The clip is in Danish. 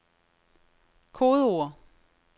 kodeord